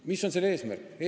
Mis on selle eesmärk?